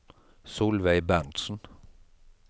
Solveig Berntzen